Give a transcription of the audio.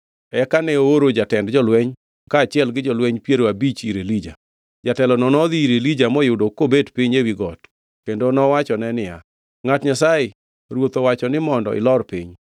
Eka ne ooro jatend jolweny kaachiel gi jolweny piero abich ir Elija. Jatelono nodhi ir Elija moyude kobet piny ewi got kendo nowachone niya, “Ngʼat Nyasaye, ruoth owacho ni mondo ilor piny!”